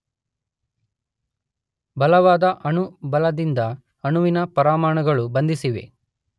ಬಲವಾದ ಅಣು ಬಲದಿಂದ ಅಣುವಿನ ಪರಮಾಣುಗಳು ಬಂಧಿಸಿವೆ.